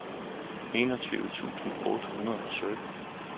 enogtyve tusind otte hundrede og sytten